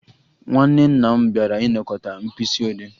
Nwanne nna m bịara ịnakọta Mkpisiode